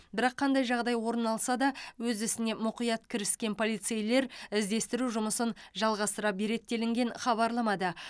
бірақ қандай жағдай орын алса да өз ісіне мұқият кіріскен полицейлер іздестіру жұмысын жалғастыра береді делінген хабарламада